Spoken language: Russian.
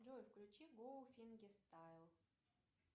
джой включи го фингер стайл